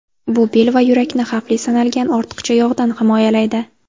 Bu bel va yurakni xavfli sanalgan ortiqcha yog‘dan himoyalaydi.